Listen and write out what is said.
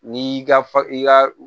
N'i y'i ka fa i ka